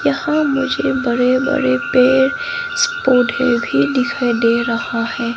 यहां मुझे बड़े बड़े पेड़ स्प्रूड हिल भी दिखाई दे रहा है।